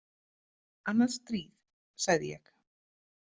Annað stríð, sagði ég.